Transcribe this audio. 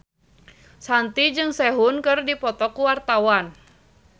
Shanti jeung Sehun keur dipoto ku wartawan